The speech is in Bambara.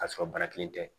K'a sɔrɔ bana kelen tɛ